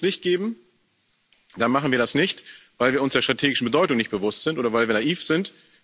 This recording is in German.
Wenn wir grünes Licht geben, dann machen wir das nicht, weil wir uns der strategischen Bedeutung nicht bewusst sind oder weil wir naiv sind.